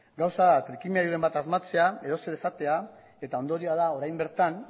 gauza da trikimailuren bat asmatzea edozer esatea eta ondorioa da orain bertan